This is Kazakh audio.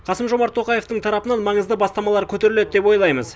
қасым жомарт тоқаевтың тарапынан маңызды бастамалар көтеріледі деп ойлаймыз